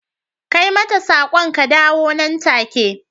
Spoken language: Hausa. kai mata sak'on ka dawo nan take.